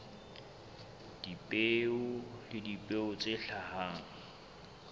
dipeo le dipeo tse hlahang